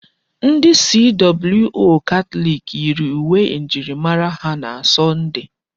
Ndi CWO Katọlik yiiri uwe njirimara ha na Sọnde.